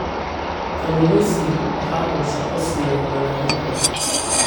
Kalluumaysigu waxa uu shaqo siiya malaayiin qof.